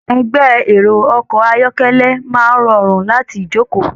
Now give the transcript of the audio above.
Ẹgbẹ́ ẹrọ ọkọ ayọkẹlẹ máa rọrun láti joko.